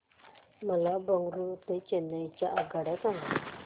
मला बंगळुरू ते चेन्नई च्या आगगाड्या सांगा